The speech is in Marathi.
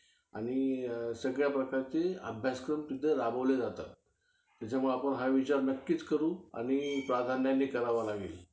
हम्म आणि suppose आता आपला बारावी मध्ये कोणत्या sem मध्ये back विषय राहिला. suppose तू pharmacy करते. तुझा back विषय राहिला, तर ते scholarship वर effect होतो का त्याचा?